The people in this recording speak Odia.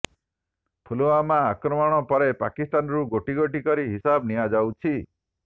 ପୁଲୱାମା ଆକ୍ରମଣ ପରେ ପାକିସ୍ତାନରୁ ଗୋଟି ଗୋଟି କରି ହିସାବ ନିଆଯାଉଛି